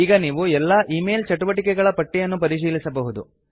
ಈಗ ನೀವು ಎಲ್ಲಾ ಈಮೇಲ್ ಚಟುವಟಿಕೆಗಳ ಪಟ್ಟಿಯನ್ನು ಪರಿಶೀಲಿಸಬಹುದು